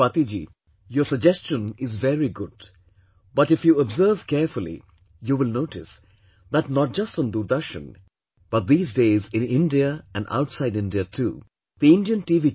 Swati ji, your suggestion is very good, but if you observe carefully you will notice that not just on Doordarshan, but these days in India and outside India too, the Indian T